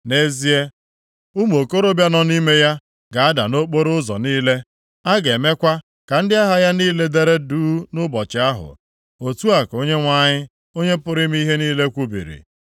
Nʼezie, ụmụ okorobịa nọ nʼime ya ga-ada nʼokporoụzọ niile, a ga-emekwa ka ndị agha ya niile dere duu nʼụbọchị ahụ.” Otu a ka Onyenwe anyị, Onye pụrụ ime ihe niile kwubiri.